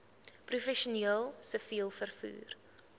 professioneel siviel vervoer